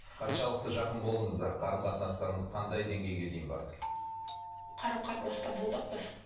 қаншалықты жақын болдыңыздар қарым қатынастарыңыз қандай деңгейге дейін барды қарым қатынаста болдық біз